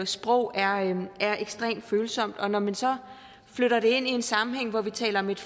sprog er ekstremt følsomt og når man så flytter det ind i en sammenhæng hvor vi taler om et